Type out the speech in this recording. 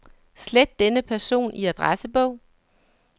Slet denne person i adressebog.